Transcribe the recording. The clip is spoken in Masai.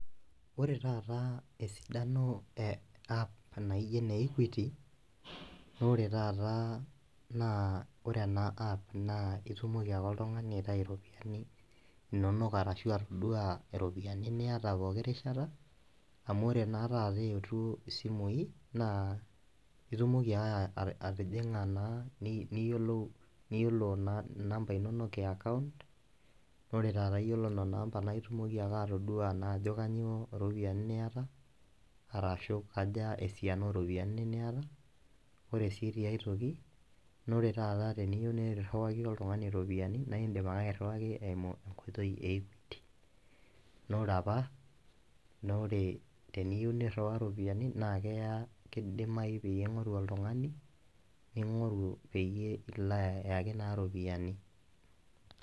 Ore taata esidano e app naijo ene equity naa ore taata ore ena app na itumoki ake oltungani aitayu iropiyiani, inonok arashu atodua iropiyiani niyata pooki rishata, amu ore naa taata eetuo isimui naa itumoki ake atijing'a naa niyiolo inamba inonok e account. ore taata iyiolo namba naa itumoki ake atodua naa ajo kainyioo iropiyiani niyata, arashu kaja esiana ooropiyiani niyata, ore sii tiae toki naa ore taata teniyieu niriwai oltungani iropiyiani, naaidim qke airiwaki eimu equity naa ore apa, naa ore teniyieu niriwaa ropiyiani naa ore, keya kidimayu tening'oru oltungani ning'oru peyie ilo naa ayaki iropiyiani.